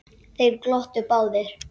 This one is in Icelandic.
Þeir glottu báðir.